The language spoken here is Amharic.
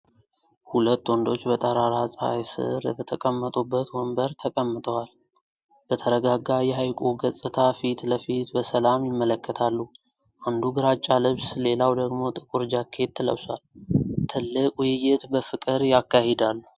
ሁለት ወንዶች በጠራራ ፀሐይ ስር በተቀመጡበት ወንበር ተቀምጠዋል። በተረጋጋ የሐይቁ ገጽታ ፊት ለፊት በሰላም ይመለከታሉ። አንዱ ግራጫ ልብስ ሌላው ደግሞ ጥቁር ጃኬት ለብሷል። ጥልቅ ውይይት በፍቅር ያካሂዳሉ።